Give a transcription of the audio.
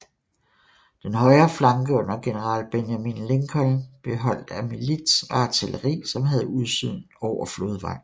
Den højre flanke under general Benjamin Lincoln blev holdt af milits og artilleri som havde udsyn over flodvejen